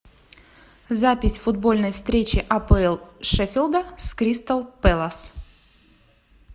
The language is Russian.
запись футбольной встречи апл шеффилда с кристал пэлас